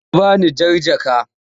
Ta bani jar jaka.